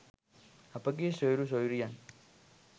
අපගේ සොයුරු සොයුරියන්